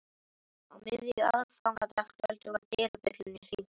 Á miðju aðfangadagskvöldi var dyrabjöllunni hringt.